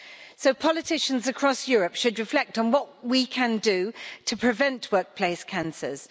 So politicians across Europe should reflect on what we can do to prevent workplace cancers.